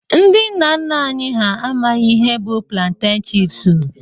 Ndị nna nna anyị ha amaghị ihe bụ planteñ chipsu